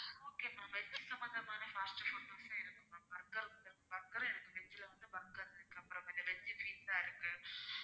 okay ma'am veg சம்மந்தமான fast foods இருக்கு burger இருக்கு burger உம் இருக்கு veg ல வந்து burger இருக்கு அப்பறம் வந்து veg pizza இருக்கு